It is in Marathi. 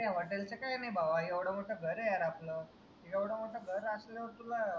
hotel च काही नाई बाबा एवढं मोठं घर आहे यार आपलं एवढं मोठं घर असल्यावर तुला